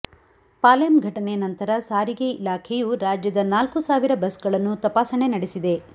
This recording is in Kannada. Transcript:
ಪಾಲೆಂ ಘಟನೆ ನಂತರ ಸಾರಿಗೆ ಇಲಾಖೆಯು ರಾಜ್ಯದ ನಾಲ್ಕು ಸಾವಿರ ಬಸ್ಗಳನ್ನು ತಪಾಸಣೆ ನಡೆಸಿದೆ